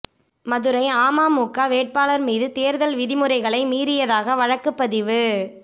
மதுரை அமமுக வேட்பாளர் மீது தேர்தல் விதிமுறைகளை மீறியதாக வழக்கு பதிவு